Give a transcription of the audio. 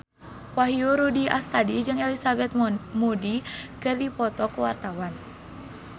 Wahyu Rudi Astadi jeung Elizabeth Moody keur dipoto ku wartawan